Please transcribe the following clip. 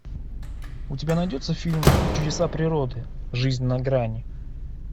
у тебя найдется фильм чудеса природы жизнь на грани